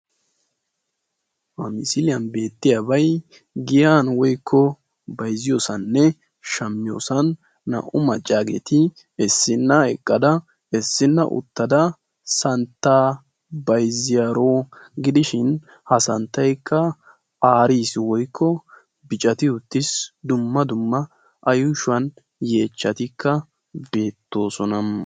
ha misiliyan beetiyabay giyan naa"u maccagetti issina eqqada issina uttada bayziyagetti beettosona etti bayziyo santtaykka adl"e ciisha malatanaw biidi dessi.